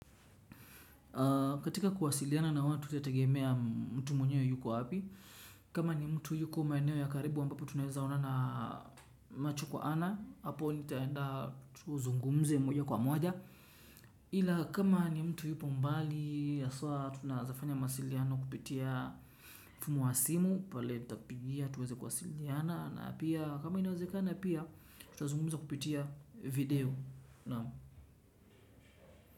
Katika kuwasiliana na watu itategemea mtu mwenye yuko wapi. Kama ni mtu yuko maeneo ya karibu ambapo tunaweza onana macho kwa ana hapo nitaenda tuzungumze moja kwa moja ila kama ni mtu yuko mbali haswa tunaeza mawasiliano kupitia mfumo wa simu pale nitakupigia tuweze kuwasiliana na pia kama inawezeka na pia tutazungumza kupitia video.